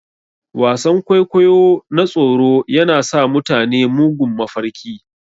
Wasan-kwaikwayo na tsoro yana sa mutane mugun mafarki.